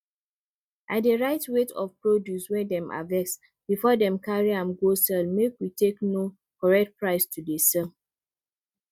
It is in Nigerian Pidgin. i dey write weight of produce wey dem harvest before dem carry am go sell make we take know correct price to dey sell